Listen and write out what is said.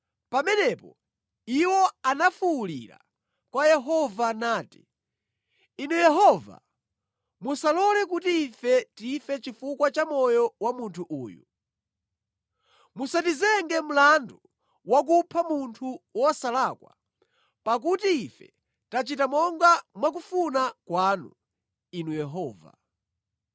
Pamenepo iwo anafuwulira kwa Yehova nati, “Inu Yehova, musalole kuti ife tife chifukwa cha moyo wa munthu uyu. Musatizenge mlandu wa kupha munthu wosalakwa, pakuti ife tachita monga mwakufuna kwanu, Inu Yehova.”